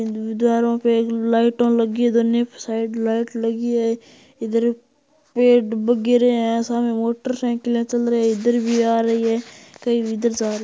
दीवारों पर लाइटा लगी है दोनों साइड लाइट लगी है इधर पेड़ वगेरे है सामने मोटर साइकिले चल रही है इधर भी आ रही है कई उधर जा रही है।